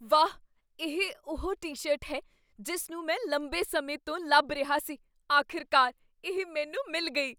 ਵਾਹ! ਇਹ ਉਹ ਟੀ ਸ਼ਰਟ ਹੈ ਜਿਸ ਨੂੰ ਮੈਂ ਲੰਬੇ ਸਮੇਂ ਤੋਂ ਲੱਭ ਰਿਹਾ ਸੀ ਆਖਿਰਕਾਰ, ਇਹ ਮੈਨੂੰ ਮਿਲ ਗਈ